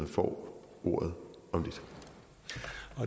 får ordet om